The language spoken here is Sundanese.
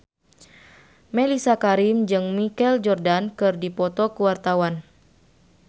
Mellisa Karim jeung Michael Jordan keur dipoto ku wartawan